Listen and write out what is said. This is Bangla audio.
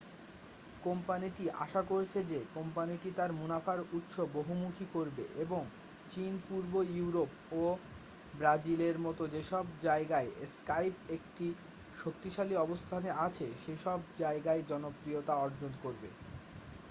কোম্পানিটি আশা করছে যে কোম্পানিটি তার মুনাফার উৎস বহুমুখী করবে এবং চীন, পূর্ব ইউরোপ ও ব্রাজিলের মতো যেসব জায়গায় স্কাইপ একটি শক্তিশালী অবস্থানে আছে সেসব জায়গায় জনপ্রিয়তা অর্জন করবে।